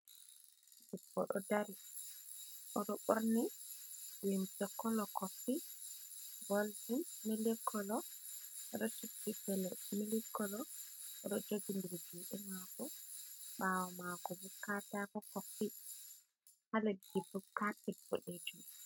Debbo ɗo dari, oɗo ɓorni limse kolo kofi, goldin, milik kolo, oɗo suddi gele milik kolo, oɗo jogindiri juuɗe maako, baawo maako bo katako kofi, ha leddi bo kapet boɗejum.